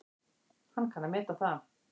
Hann kann að meta það.